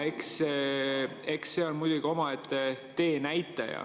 Eks see on muidugi omaette teenäitaja.